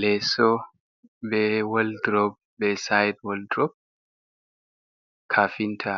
Leso be woldrob be side woldrop, kafinta